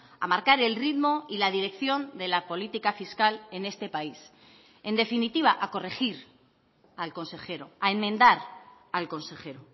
a marcar el ritmo y la dirección de la política fiscal en este país en definitiva a corregir al consejero a enmendar al consejero